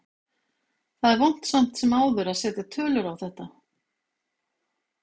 Það er vont samt sem áður að setja tölur á þetta.